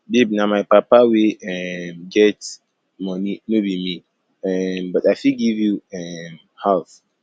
babe na my papa wey um get money no be me um but i fit give you um half